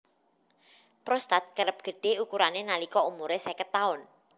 Prostat kerep gedhé ukurané nalika umuré seket taun